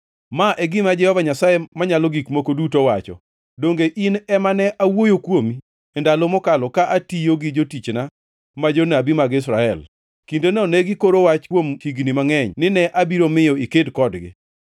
“ ‘Ma e gima Jehova Nyasaye Manyalo Gik Moko Duto wacho: Donge in ema ne awuoyo kuomi ndalo mokalo ka atiyo gi jotichna ma jonabi mag Israel? Kindeno ne gikoro wach kuom higni mangʼeny nine abiro miyo iked kodgi.